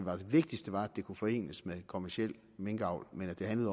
vigtigste var at det kunne forenes med kommerciel minkavl men at det handlede